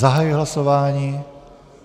Zahajuji hlasování.